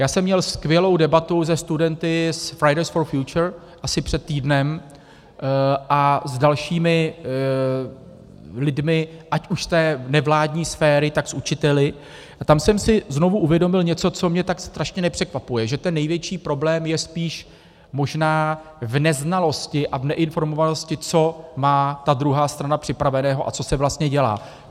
Já jsem měl skvělou debatu se studenty z Fridays For Future asi před týdnem a s dalšími lidmi, ať už z té nevládní sféry, tak s učiteli, a tam jsem si znovu uvědomil něco, co mě tak strašně nepřekvapuje - že ten největší problém je spíš možná v neznalosti a v neinformovanosti, co má ta druhá strana připraveného a co se vlastně dělá.